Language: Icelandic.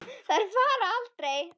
Þær fara aldrei.